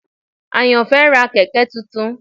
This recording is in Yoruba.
Ayanfe ra kẹ̀kẹ́ tuntun.